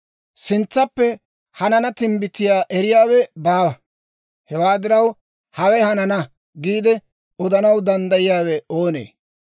Sintsappe hanana timbbitiyaa eriyaawe baawa; hewaa diraw, «Hawe hanana» giide odanaw danddayiyaawe oonee?